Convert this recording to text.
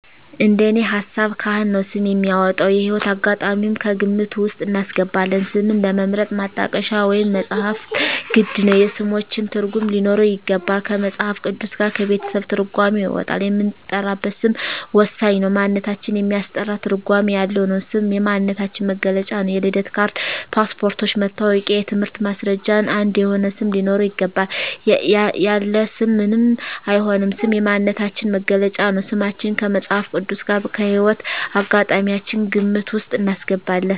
እንደኔ ሀሳብ ካህን ነው ስም የሚያወጣው። የህይወት አጋጣሚም ከግምት ውስጥ እናስገባለን ስምን ለመምረጥ ማጣቀሻ ወይም መፅሀፍት ግድ ነው የስሞችን ትርጉም ሊኖረው ይገባል ከመፅሀፍ ቅዱስ ጋር ከቤተሰብ ትርጓሜ ይወጣል የምንጠራበት ስም ወሳኝ ነው ማንነታችን የሚያስጠራ ትርጓሜ ያለው ነው ስም የማንነታችን መግለጫ ነው የልደት ካርድ ,ፓስፓርቶች ,መታወቂያ የትምህርት ማስረጃችን አንድ የሆነ ስም ሊኖረው ይገባል። ያለ ስም ምንም አይሆንም ስም የማንነታችን መገለጫ ነው። ስማችን ከመፅሀፍ ቅዱስ ጋር ከህይወት አጋጣሚያችን ግምት ውስጥ እናስገባለን